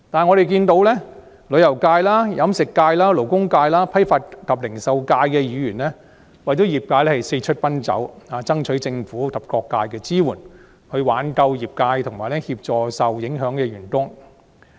我們看到旅遊界、飲食界、勞工界、批發及零售界的議員為業界四出奔走，爭取政府及各界支援，以挽救業界和協助受影響的員工。